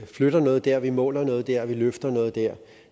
flytter noget dér og vi måler noget dér og vi løfter noget dér